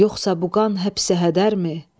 Yoxsa bu qan həbsi hədərmi?